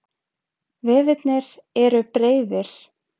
Vefirnir eru breiðir.